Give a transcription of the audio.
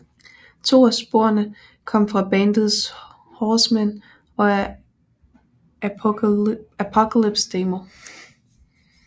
To af sporene kom fra bandets Horsemen of the Apocalypse demo